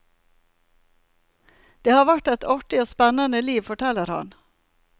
Det har vært et artig og spennende liv, forteller han.